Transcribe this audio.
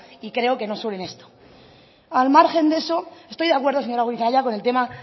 y creo que no solo en esto al margen de eso estoy de acuerdo señora goirizelaia con el tema